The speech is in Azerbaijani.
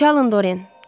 Çalın, Doren.